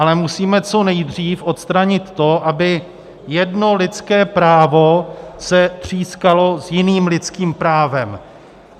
Ale musíme co nejdřív odstranit to, aby jedno lidské právo se třískalo s jiným lidským právem.